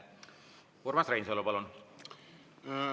Urmas Reinsalu, palun!